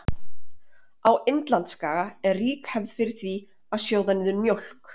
á indlandsskaga er rík hefð er fyrir því að sjóða niður mjólk